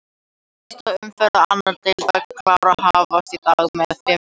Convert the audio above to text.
Fyrsta umferð annar deildar karla hefst í dag með fimm leikjum.